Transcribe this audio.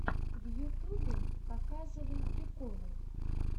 в ютюбе показывай приколы